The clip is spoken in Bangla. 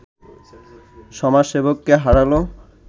সমাজসেবককে হারালো